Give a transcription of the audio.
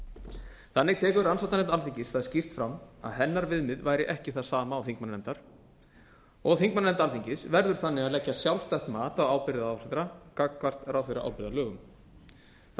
ráðherra þannig tekur rannsóknarnefnd alþingis það skýrt fram að hennar viðmið væri ekki það sama og þingmannanefndar og þingmannanefnd alþingis verður þannig að leggja sjálfstætt mat á ábyrgð ráðherra gagnvart ráðherraábyrgðarlögum það